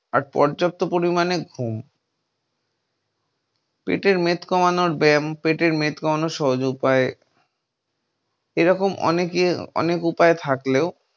আর পর্যাপ্ত পরিমাণে ঘুম। পেটের মেদ কমানোর ব্যায়াম, পেটের মেদ কমানোর সহজ উপায় এরকম আনেক অনেক উপায় থাকলেও